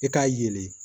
I k'a yelen